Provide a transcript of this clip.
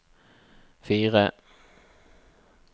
fire